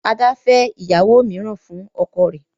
Ada fè ìyàwó míràn fún ọkọ rẹ.